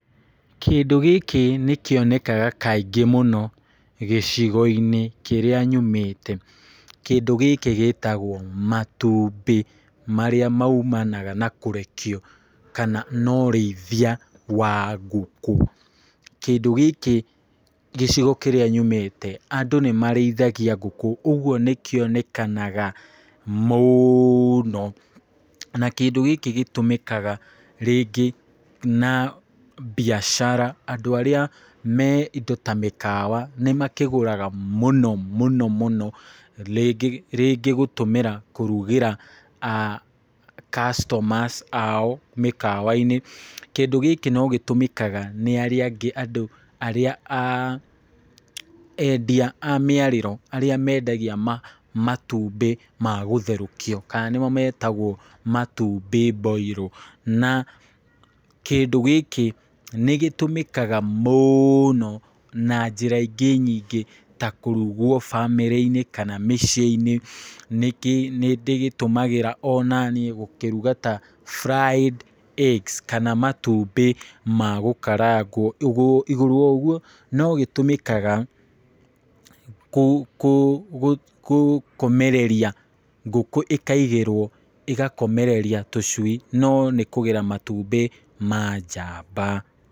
Kĩndũ gĩkĩ nĩ kĩonekaga kaingĩ mũno gĩcigo-inĩ kĩrĩa nyumĩte, kĩndũ gĩkĩ gĩtagwo matumbĩ, marĩa maimanaga na kũrekio kana na ũrĩithia wa ngũkũ, kĩndũ gĩkĩ gĩcigo kĩrĩa nyumĩte, andũ nĩ marĩithagia ngũkũ ũguo nĩ kĩonekanaga mũno, na kĩndũ gĩkĩ gĩtũmĩkaga rĩngĩ na biacara, andũ arĩa me indo ta mĩkawa nĩ makĩgũraga mũno mũno mũno, rĩngĩ rĩngĩ gũtũmĩra kũrugĩra aah customers ao mĩkawa-inĩ, kĩndũ gĩkĩ no gĩtũmĩkaga nĩ arĩa angĩ andũ arĩa aah endia amĩarĩro, arĩa mendagia ma matumbĩ magũtherũkio kana nĩmo metagwo matumbĩ mboiro, na kĩndũ gĩkĩ nĩgĩtũmĩkaga mũ noo na njĩra ingĩ nyingĩ, ta kũrugwo bamĩrĩ-inĩ, kana mĩciĩ-nĩ, nĩ ndĩgĩtũmagĩra o naniĩ gũkĩruga ta fried eggs kana matumbĩ ma gũkarangwo, igũ igũrũ wa ũguo no gĩtũmĩkaga kũ kũ gũ kũkomereria ngũkũ ĩkaigĩrwo ĩgakomereria tũcui no nĩ kũgera matumbĩ ma njamba.